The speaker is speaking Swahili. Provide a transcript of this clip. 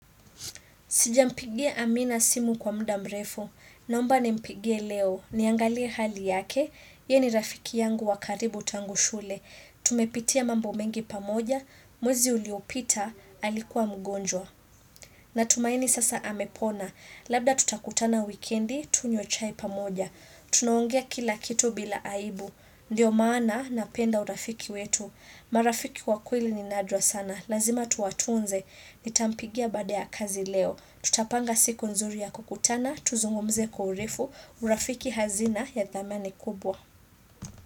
Sijampigie amina simu kwa muda mrefu. Naomba nimpigie leo. Niangalie hali yake. Ye ni rafiki yangu wa karibu tangu shule. Tumepitia mambo mengi pamoja. Mwezi uliopita alikuwa mgonjwa. Na tumaini sasa amepona. Labda tutakutana wikendi, tunywe chai pa moja. Tunaongea kila kitu bila aibu. Ndiyo maana na penda urafiki wetu. Marafiki wakweli ni nadra sana. Lazima tuwatunze. Nitampigia baada ya kazi leo. Tutapanga siku nzuri ya kukutana. Tuzungumze kwaurefu. Urafiki hazina ya dhamani kubwa.